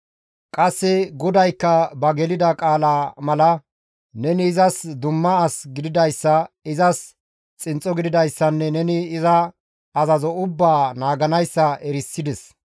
Qasse GODAYKKA ba gelida qaalaa mala neni izas dumma as gididayssa, izas xinxxo gididayssanne neni iza azazo ubbaa naaganayssa erisides.